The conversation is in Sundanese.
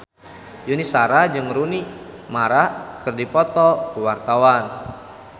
Yuni Shara jeung Rooney Mara keur dipoto ku wartawan